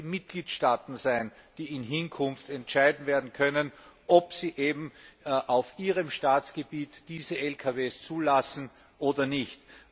Es werden die Mitgliedstaaten sein, die in Hinkunft entscheiden können, ob sie auf ihrem Staatsgebiet diese Lkws zulassen oder nicht.